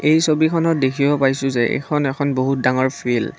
এই ছবিখনত দেখিব পাইছোঁ যে এইখন এখন বহুত ডাঙৰ ফিল্ড ।